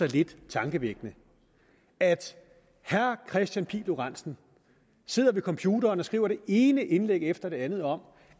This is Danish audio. lidt tankevækkende at herre kristian pihl lorentzen sidder ved computeren og skriver det ene indlæg efter det andet om